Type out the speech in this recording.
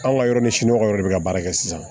Anw ka yɔrɔ ni siɲɔgɔn yɛrɛ bɛ ka baara kɛ sisan